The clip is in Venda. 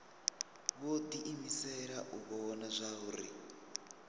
vho diimisela u vhona zwauri